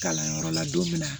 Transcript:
Kalanyɔrɔ la don min na